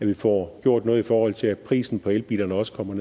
vi får gjort noget i forhold til at prisen på elbiler også kommer